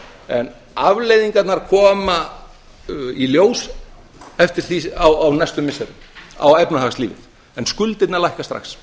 en afleiðingar koma í ljós á næstu missirum á efnahagslífið en skuldirnar lækka strax